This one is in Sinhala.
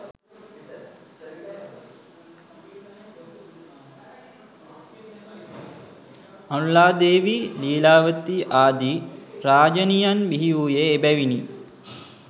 අනුලා දේවී, ලීලාවතී ආදී රාජණියන් බිහිවූයේ එබැවිනි.